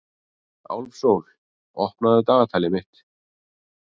Álfsól, opnaðu dagatalið mitt.